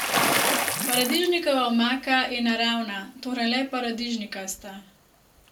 Paradižnikova omaka je naravna, torej le paradižnikasta.